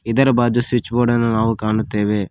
ಇದರ ಬಾಜು ಸ್ವಿಚ್ ಬೋರ್ಡನ್ನು ನಾವು ಕಾಣುತ್ತೇವೆ.